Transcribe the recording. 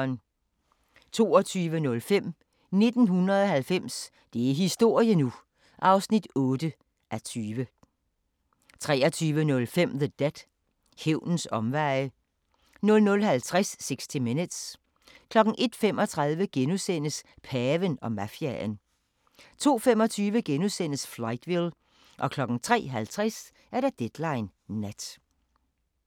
22:05: 1990 – det er historie nu! (8:20) 23:05: The Debt – Hævnens omveje 00:50: 60 Minutes 01:35: Paven og mafiaen * 02:25: Fightville * 03:50: Deadline Nat